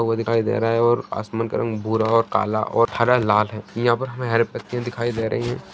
लोगो को दिखाई दे रहा है और आसमान का रंग भूरा और काला और हरालाल है और हीया पे हमें हरे पत्तियां दिखाई दे रही है।